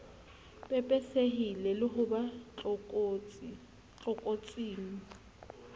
pepesehile le ho ba tlokotsing